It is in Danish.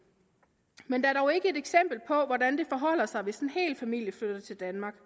men der er dog ikke et eksempel på hvordan det forholder sig hvis en hel familie flytter til danmark